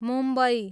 Mumbai